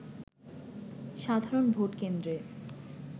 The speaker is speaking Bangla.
সাধারণ ভোটকেন্দ্রে